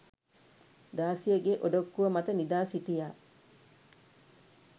දාසියගේ ඔඩොක්කුව මත නිදාසිටියා